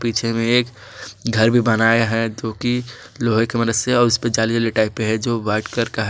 पीछे में एक घर भी बनाया है तो की लोहे की मदद से उसपे जाली वाले टाइपे है जो व्हाइट कर का है